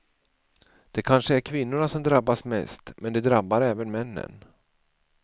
Det kanske är kvinnorna som drabbas mest, men det drabbar även männen.